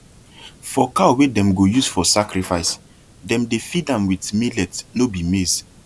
for cow wey dem go use for sacrifice dem dey feed am with millet no be maize